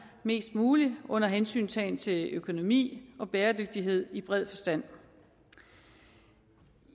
mest muligt under hensyntagen til økonomi og bæredygtighed i bred forstand